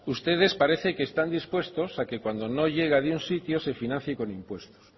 ustedes parece que están dispuestos a que cuando no llega de un sitio se financie con impuestos